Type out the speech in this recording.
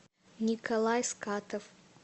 николай скатов